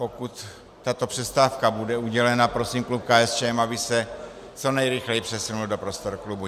Pokud tato přestávka bude udělena, prosím klub KSČM, aby se co nejrychleji přesunul do prostor klubu.